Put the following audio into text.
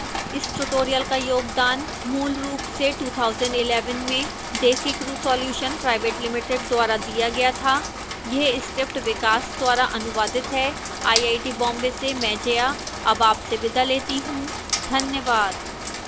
इस tutorial का योगदान मूलरूप से 2011 में desicrew solutions pvt ltd द्वारा दिया गया था यह स्क्रिप्ट विकास द्वारा अनुवादित है आईआईटी बॉम्बे से मैं जया अब आपसे विदा लेती हूँ धन्यवाद